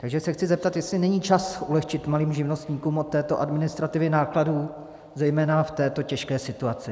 Takže se chci zeptat, jestli není čas ulehčit malým živnostníkům od této administrativy nákladů zejména v této těžké situaci.